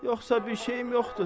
Yoxsa bir şeyim yoxdur.